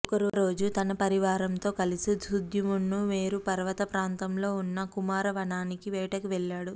ఒకరోజు తన పరివారంతో కలిసి సుద్యుమ్నుడు మేరు పర్వతప్రాంతంలో వున్న కుమారవనానికి వేటకి వెళ్ళాడు